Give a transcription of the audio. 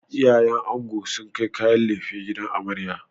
Iyayen ango sun kai kayan laife gidan amarya.